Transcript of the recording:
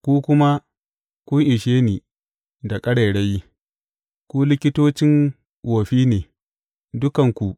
Ku kuma kun ishe ni da ƙarairayi; ku likitocin wofi ne, dukanku!